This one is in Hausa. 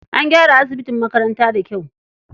An gyara asibin makaranta da kyau.